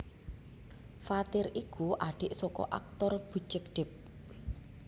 Fathir iku adhik saka aktor Bucek Depp